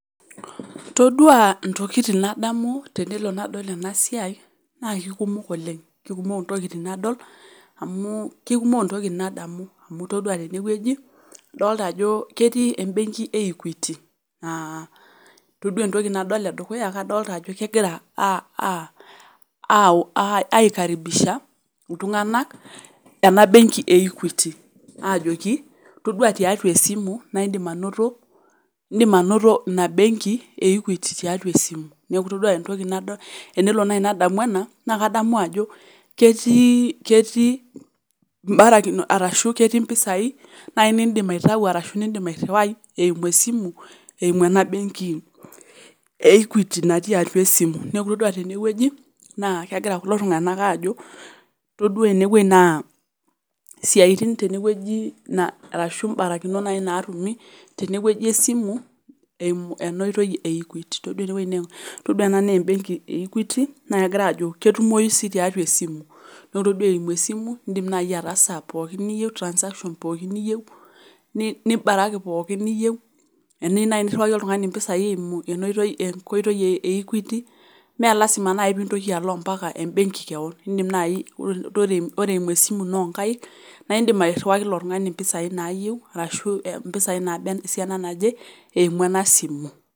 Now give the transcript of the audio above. Toduaa intokitin nadamu tenelo nadol enasiai naakekumok oleng' kekumok intokitin nadol amuu kekumok intokitin nadamu amu toduaa tenewueji adolita ajo ketii embenki e equity aah toduaa entoki nadol edukuya adolita ajo kegira [aa aah] aikaribisha iltung'anak ena  benki e equity aajoki toduaa tiatua esimu naindim anoto indim anoto ina  benki e equity tiatua esimu. Neaku itoduaa entoki nadol enelo nai nadamu ena naakadamu ajo ketii ketii imbarakino arashu ketii mpisai nai nindim aitau arashu nindim airriwai eimu esimu eimu ena benki e equity natii atua esimu. Neaku itoduaa tenewueji naa kegira kulo tung'anak aajo toduaa enewueji naa siatin tenewueji na arashu imbarakinot nai naatumi tenewueji esimu eimu enooitoi e equity. Toduaa enewuei nee toduaa ena neembenki e equity naa kegiraajo ketumoi sii tiatua esimu. Noore duo eimu esimu indim nai ataasa pookin niyeu transaction pooki niyeu [nih] nibaraki pooki niyeu eniyeu nai nirriwaki oltung'ani mpisai eimu enoitoi enkoitoi e equity meelazima nai piintoki alo ompaka embenki keon, indim nai ore ore eimu esimu ino onkaik naaindim airriwaki ilo tung'ani mpisai naayeu arashu mpisai naaba esiana naje eimu ena  simu.